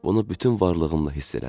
Bunu bütün varlığımla hiss elədim.